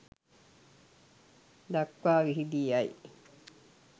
දක්වා විහිදී යයි.